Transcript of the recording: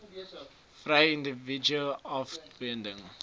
vry individue afdwing